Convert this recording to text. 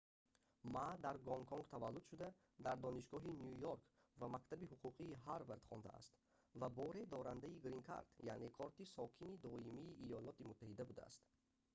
ма дар гонконг таваллуд шуда дар донишгоҳи ню йорк ва мактаби ҳуқуқии ҳарвард хондааст ва боре дорандаи грин кард яъне корти сокини доимии йёлоти муттаҳида будааст